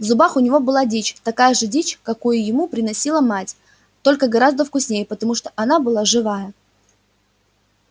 в зубах у него была дичь такая же дичь какую ему приносила мать только гораздо вкуснее потому что она была живая